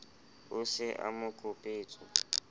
o se a mo kopetswe